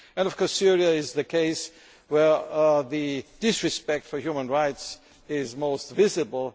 Of course, Syria is the case where disrespect for human rights is most visible.